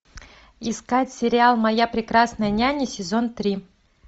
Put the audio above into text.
искать сериал моя прекрасная няня сезон три